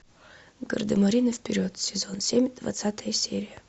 гардемарины вперед сезон семь двадцатая серия